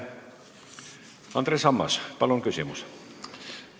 Andres Ammas, palun küsimus!